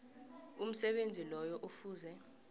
umsebenzi loyo kufuze